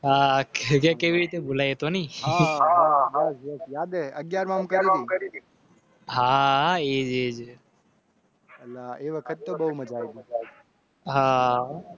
કેવી રીતે બોલાય તો નઈહાહા હા